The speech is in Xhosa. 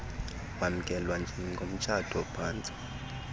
wamkelwa njengomtshato phantsu